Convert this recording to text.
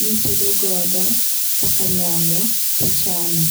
mi itede godo kaka nyoyo ti ichame.